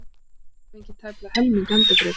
Hafa fengið tæplega helming endurgreiddan